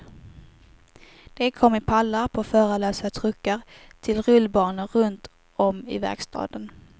De kom i pallar på förarlösa truckar till rullbanor runt om i verkstaden.